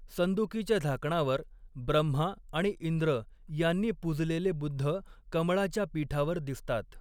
संदूकीच्या झाकणावर ब्रह्मा आणि इंद्र यांनी पूजलेले बुद्ध कमळाच्या पीठावर दिसतात.